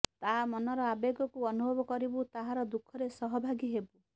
ତା ମନର ଆବେଗକୁ ଅନୁଭବ କରିବୁ ତାହାର ଦୁଃଖରେ ସହଭାଗୀ ହେବୁ